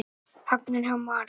Hagnaður hjá Marel